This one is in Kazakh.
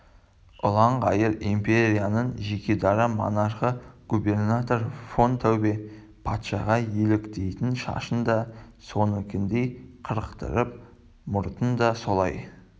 ұлан-байтақ империяның жекедара монархы губернатор фон таубе патшаға еліктейтін шашын да соныкіндей қырықтырып мұртын да солай